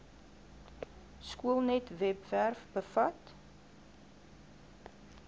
skoolnet webwerf bevat